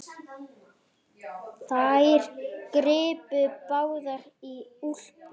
Þær gripu báðar í úlpu